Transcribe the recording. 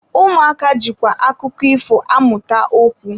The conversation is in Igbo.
Ụmụaka jikwa akụkọ ifo amụta okwu.